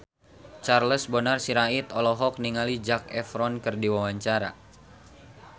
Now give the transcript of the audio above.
Charles Bonar Sirait olohok ningali Zac Efron keur diwawancara